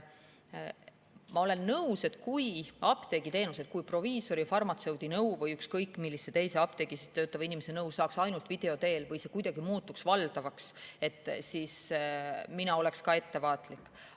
Ma olen nõus, et kui apteegiteenust, kui proviisori, farmatseudi nõu või ükskõik millise teise apteegis töötava inimese nõu saaks ainult video teel või see muutuks valdavaks, siis mina oleks ka ettevaatlik.